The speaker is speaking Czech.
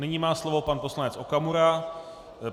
Nyní má slovo pan poslanec Okamura.